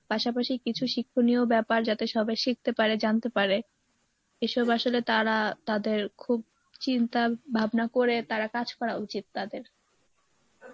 পাশাপাশি কিছু শিক্ষণীয় ব্যাপার যাতে সবাই শিখতে পারে জানতে পারে এসব আসলে তারা তাদের খুব চিন্তা ভাবনা করে তারা কাজ করা উচিত তাদের